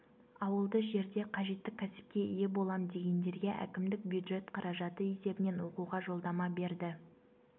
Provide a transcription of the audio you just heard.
ауылды жерде қажетті кәсіпке ие болам дегендерге әкімдік бюджет қаражаты есебінен оқуға жолдама берді